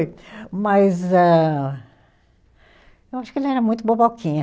Mas a, eu acho que ele era muito boboquinha.